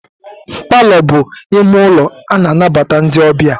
Palọ bụ ime ụlọ a na-anabata ndị ọbịa.